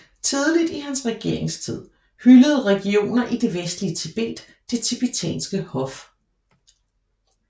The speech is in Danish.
Tidligt i hans regeringstid hyldede regioner i det vestlige Tibet det tibetanske hof